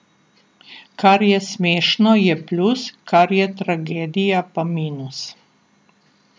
Kar je smešno, je plus, kar je tragedija, pa minus.